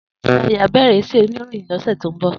Dayo á bèrè iṣè óniróyin lòsè tó n bò